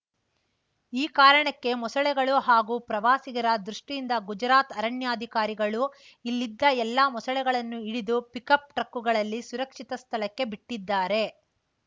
ಈ ಕಾರಣಕ್ಕೆ ಮೊಸಳೆಗಳು ಹಾಗೂ ಪ್ರವಾಸಿಗರ ದೃಷ್ಟಿಯಿಂದ ಗುಜರಾತ್‌ ಅರಣ್ಯಾಧಿಕಾರಿಗಳು ಇಲ್ಲಿದ್ದ ಎಲ್ಲಾ ಮೊಸಳೆಗಳನ್ನು ಹಿಡಿದು ಪಿಕ್‌ಅಪ್‌ ಟ್ರಕ್ಕುಗಳಲ್ಲಿ ಸುರಕ್ಷಿತ ಸ್ಥಳಕ್ಕೆ ಬಿಟ್ಟಿದ್ದಾರೆ